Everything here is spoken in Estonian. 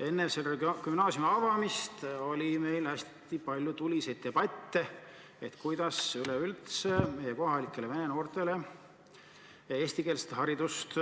Enne selle avamist peeti meil hästi palju tuliseid debatte selle üle, kuidas üleüldse meie kohalikele vene noortele eestikeelset haridust